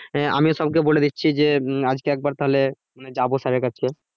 আহ আমিও সবকে বলে দিচ্ছি যে উম আজকে একবার তাহলে যাবো sir এর কাছে।